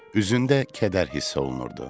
Üzündə kədər hiss olunurdu.